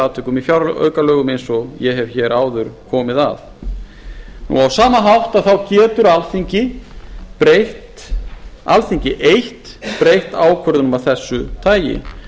atvikum í fjáraukalögum eins og ég hef hér áður komið að á sama hátt er það alþingi eitt sem getur breytt ákvörðunum af þessu tagi